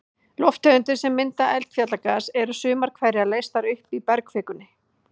Lofttegundir sem mynda eldfjallagas, eru sumar hverjar leystar upp í bergkvikunni.